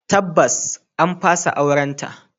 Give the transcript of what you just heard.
Tabbas an fasa aurenta.